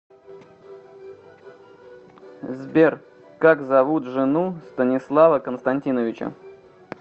сбер как зовут жену станислава константиновича